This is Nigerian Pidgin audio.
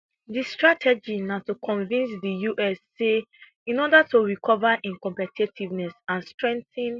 di strategy na to convince di us say in order to recover im competitiveness and strengthen